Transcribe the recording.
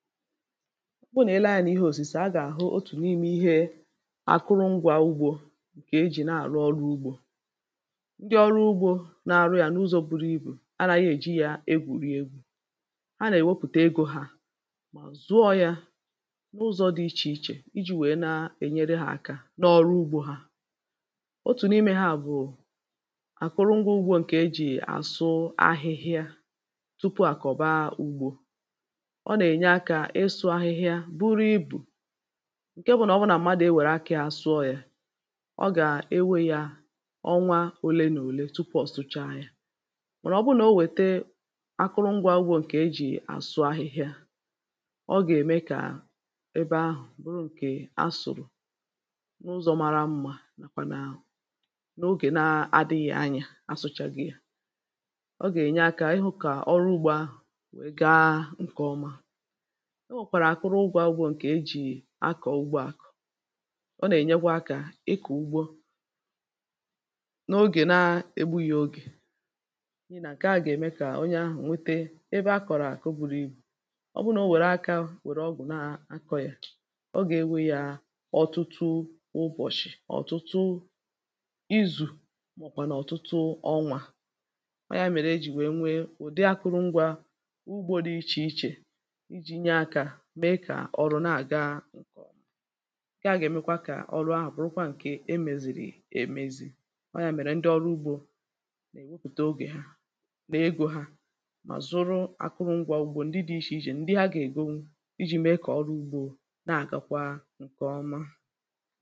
bụ na ị lee anyȧ ihe òsìse à gà-àhụ otù n’imė ihe àkụrụ ngwȧ ugbȯ ǹkè ejì nà-àrụ ọrụ ugbȯ ndị ọrụ ugbȯ na-arụ yȧ n’ụzọ̇ buru ibù ara ihe èji yȧ egwù rie egwu̇ a nà-èwepùte egȯ hȧ mà zụọ̇ yȧ n’ụzọ̇ dị̇ ichè ichè iji̇ nwèe na-ènyere hȧ aka n’ọrụ ugbȯ hȧ otù n’ime hȧ bụ̀ àkụrụ ngwȧ ugbȯ ǹkè ejì àsụ ahịhịa tupu àkọ̀ba ugbȯ ịsụ̇ ahịhịa buru ibù ǹke bụ̀ nà ọ bụ nà mmadụ̀ e wère akȧ àsụọ̇ yȧ ọ gà-enweyȧ ọnwa olenòle tupọ̀ sụcha yȧ mànà ọ bụrụ nà o wète akụrụngwȧ ugbȯ ǹkè e jì àsụọ ahịhịa ọ gà-ème kà ebe ahụ̀ bụrụ ǹkè asọ̀rọ̀ n’ụzọ̇ mara mmȧ nàkwà nà ogè na-adịghị̇ anyȧ asụchaghi̇ ya ọ gà-ènye akȧ ịhụ̇ kà ọrụ ugbȯ ahụ̀ wee gaa nkè ọma enwèkwàrà àkụrụ ụgwọ̇ ǹkè ejì akọ̀ ụgbọ akọ̀ ọ nà-ènyegwa akȧ ịkụ̀ ugbȯ n’ogè na-egbughi ogè niilè àke à gà-ème kà onye ahụ̀ nwete ebe akọ̀rọ̀ àkụ buru ibù ọ bụrụnà o nwère akȧ nwèrè ọgụ̀ na-akọ̇ yà o gà-enwe yȧ ọ̀tụtụ ụbọ̀shị̀ ọ̀tụtụ izù màọ̀bụ̀ nà ọ̀tụtụ ọnwȧ kwa ya mèrè ejì wèe nwee ụ̀dị akụrụ ngwȧ ugbȯ dị ichè ichè ǹke à gà-èmekwa kà ọrụ ahụ̀ bụrụkwa ǹke emèzìrì èmezi̇ ọọ̀ ya mèrè ndị ọrụ ugbȯ nà-èwepùte ogè ha nà egȯ ha mà zụrụ akụrụ ngwȧ ùgbò ndị dị̇ ichè ijè ndị ha gà-ègo iji̇ mee kà ọrụ ugbȯ na-àgakwa ǹkè ọma